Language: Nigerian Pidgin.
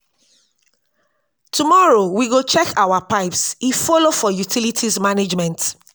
um if you no manage your light um and water well your bill go um shock you.